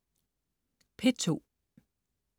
P2: